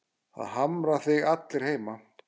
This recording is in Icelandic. Það harma þig allir heima.